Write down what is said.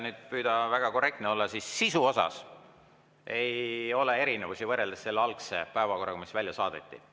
Kui püüda väga korrektne olla, siis sisus ei ole erinevusi võrreldes selle algse päevakorraga, mis välja saadeti.